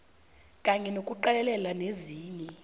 kanye nokuqalelela nezinye